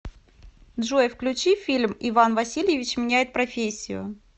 джой включи фильм иван васильевич меняет профессию